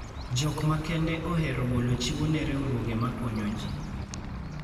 Jok makende ohero golo chiwo ne riwruoge makonyo ji.